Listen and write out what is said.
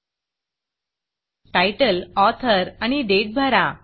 Titleटाइटल author आणि date भरा